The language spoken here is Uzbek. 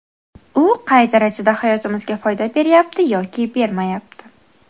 U qay darajada hayotimizga foyda beryapti yoki bermayapti?